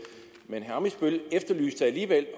men alligevel